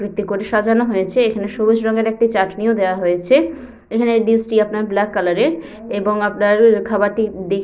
আকৃতি করে সাজানো হয়েছে এখানে সবুজ রঙের একটি চাটনিও দেওয়া হয়েছে এখানে ড্রেস টি আপনার ব্ল্যাক কালার এর এবং আপনার খাবার টি ডিশ --